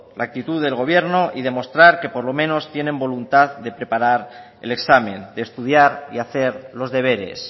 la actitud del gobierno y demostrar que por lo menos tiene voluntad de preparar el examen de estudiar y hacer los deberes